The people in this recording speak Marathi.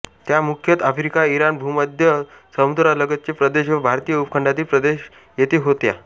त्या मुख्यतः आफ्रिका इराण भूमध्य समुद्रालगतचे प्रदेश व भारतीय उपखंडातील प्रदेश येथे होत्या